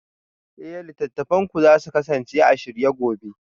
Eh littattafanku za su kasance a shirye gobe